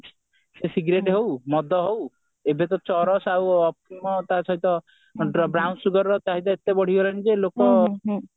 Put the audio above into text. ସେ cigarette ହଉ ମଦ ହଉ ଏବେ ତ ଚରସ ଆଉ ଅଫିମ ତା ସହିତ ବ୍ରାଉନସୁଗାର ର ଚାହିଦା ଏତେ ବଢିଗଲାଣି ଯେ ଲୋକ